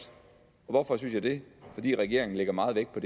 hvorfor synes jeg det fordi regeringen lægger meget vægt på